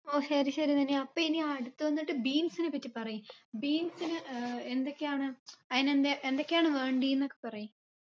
ഓ ശരി ശരി നനി അപ്പ ഇനി അടുത്ത വന്നിട്ട് beans നെപ്പറ്റി പറയ് beans ന് ഏർ എന്തൊക്കെയാണ് അയിന് എന്തെ എന്തൊക്കെയാണ് വേണ്ടീന്നൊക്കെ പറയ്